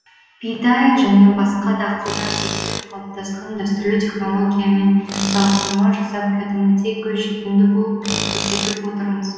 бидай және басқа дақылдар егіліп қалыптасқан дәстүрлі технологиямен салыстырма жасап кәдімгідей көз жетімді болып көрсетіп отырмыз